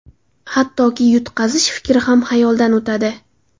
Hattoki, yutqazish fikri ham xayoldan o‘tadi.